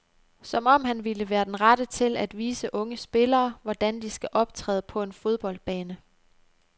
Som om han ville være den rette til at vise unge spillere, hvordan de skal optræde på en fodboldbane.